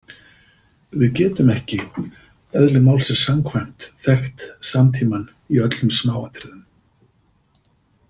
Við getum ekki, eðli málsins samkvæmt, þekkt samtímann í öllum smáatriðum.